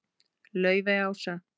Laufey Ása.